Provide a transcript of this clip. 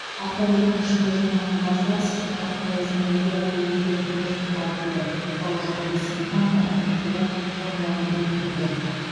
автокөліктің ішінде жиналған газдар сізді қатты аяздан әлдеқайда ертерек мерт қылады деді бауыржан бейсенқанов әкімдіктегі онлайн брифингіде